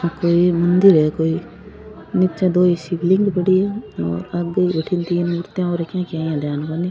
आ कोई मंदिर है कोई निचे दो शिव लिंग पड़ी है और आगे भटीन तीन मूर्तियां ध्यान कोनी।